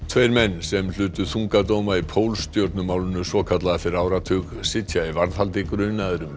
tveir menn sem hlutu þunga dóma í svokallaða fyrir áratug sitja í varðhaldi grunaðir um